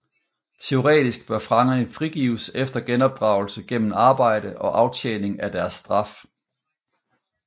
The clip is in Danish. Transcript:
Teoretisk bør fangerne frigives efter genopdragelse gennem arbejde og aftjening af deres straf